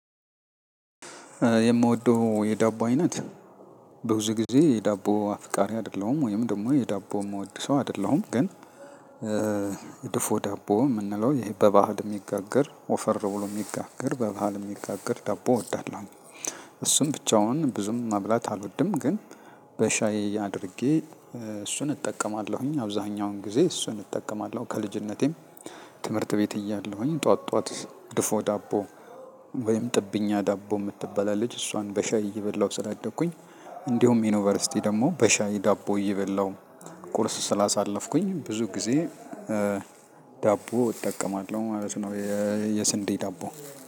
የምወደው የዳቦ አይነት ብዙ ጊዜ የዳቦ አፍቃሪ አይደለሁም ወይም ደሞ የዳቦ ምወድ ሰው አይደለሁም ግን ድፎ ዳቦ ምንለው ይሄ በባህል የሚጋግር ወፈር ብሎ ሚጋገር በባህል ሚጋገር ዳቦ እወዳለሁኝ። እሱም ብቻውን ብዙም መብላት አልወድም ግን። በሻይ አድርጌ እሱን እጠቀማለሁኝ አብዛኛውን ጊዜ እሱን እጠቀማለሁ ከልጅነቴም ትምህርት ቤት እያለሁኝ ጠዋት ጠዋት ድፎ ዳቦ ወይም ጥብኛ ዳቦ ምትባል አለች እሷን በሻይ እየበላሁ ስላደኩኝ። እንዲሁም ዩኒቨርሲቲ ደግሞ በሻይ ዳቦ እየበላሁ ቁርስ ስላሳለፍኩኝ ብዙ ጊዜ ዳቦ እጠቀማለሁ ማለት ነው። የስንዴ ዳቦ